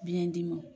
Biyɛn dimi